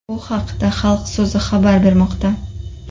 Bu haqda Xalq so‘zi xabar bermoqda .